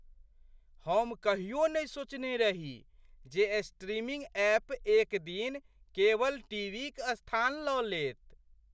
हम कहियो नहि सोचने रही जे स्ट्रीमिंग ऐप एक दिन केबल टीवीक स्थान लऽ लेत।